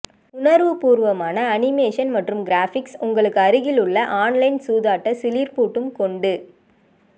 உணர்வுப்பூர்வமான animation மற்றும் graphics உங்களுக்கு அருகிலுள்ள ஆன்லைன் சூதாட்ட சிலிர்ப்பூட்டும் கொண்டு